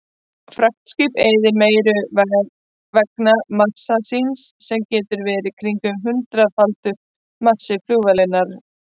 Fraktskip eyðir meiru vegna massa síns sem getur verið kringum hundraðfaldur massi flugvélarinnar.